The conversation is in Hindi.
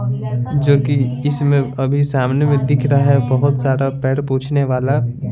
जो कि इसमें अभी सामने में दिख रहा है बहुत सारा पैर पूछने वाला।